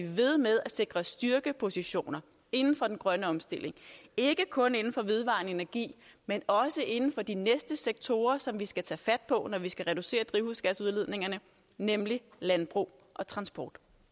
ved med at sikre styrkepositioner inden for den grønne omstilling ikke kun inden for vedvarende energi men også inden for de næste sektorer som vi skal tage fat på når vi skal reducere drivhusgasudledningerne nemlig landbrug og transport